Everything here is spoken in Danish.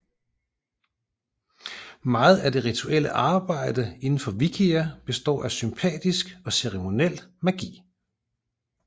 Meget af det rituelle arbejde indenfor Wicca består af sympatisk og ceremoniel magi